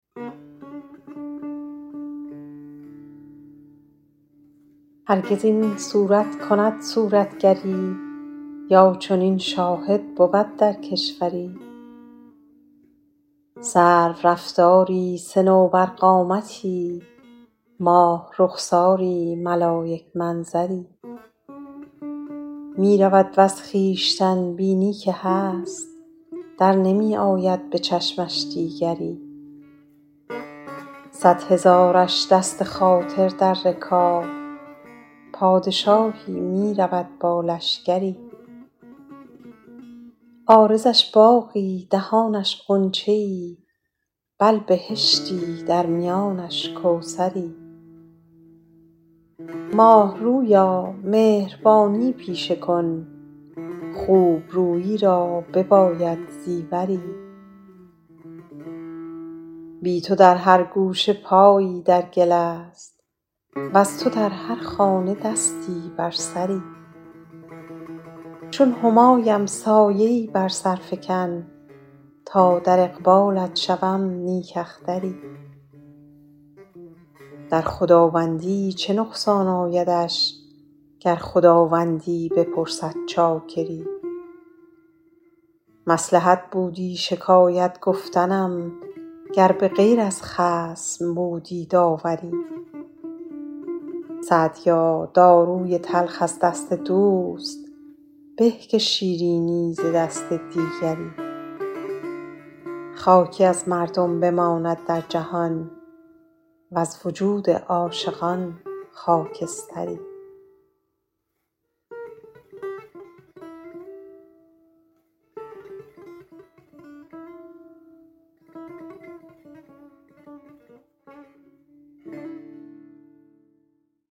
هرگز این صورت کند صورتگری یا چنین شاهد بود در کشوری سرورفتاری صنوبرقامتی ماه رخساری ملایک منظری می رود وز خویشتن بینی که هست در نمی آید به چشمش دیگری صد هزارش دست خاطر در رکاب پادشاهی می رود با لشکری عارضش باغی دهانش غنچه ای بل بهشتی در میانش کوثری ماه رویا مهربانی پیشه کن خوب رویی را بباید زیوری بی تو در هر گوشه پایی در گل است وز تو در هر خانه دستی بر سری چون همایم سایه ای بر سر فکن تا در اقبالت شوم نیک اختری در خداوندی چه نقصان آیدش گر خداوندی بپرسد چاکری مصلحت بودی شکایت گفتنم گر به غیر از خصم بودی داوری سعدیا داروی تلخ از دست دوست به که شیرینی ز دست دیگری خاکی از مردم بماند در جهان وز وجود عاشقان خاکستری